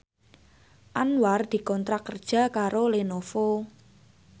Anwar dikontrak kerja karo Lenovo